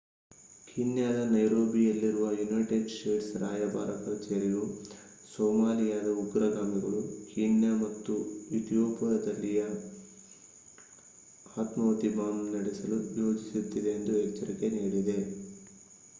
ಕೀನ್ಯಾದ ನೈರೋಬಿಯಲ್ಲಿರುವ United States ರಾಯಭಾರ ಕಚೇರಿಯು ಸೊಮಾಲಿಯಾದ ಉಗ್ರಗಾಮಿಗಳು ಕೀನ್ಯಾ ಮತ್ತು ಇಥಿಯೋಪಿಯಾದಲ್ಲಿ ಆತ್ಮಾಹುತಿ ಬಾಂಬ್ ದಾಳಿ ನಡೆಸಲು ಯೋಜಿಸುತ್ತಿದೆ ಎಂದು ಎಚ್ಚರಿಕೆ ನೀಡಿದೆ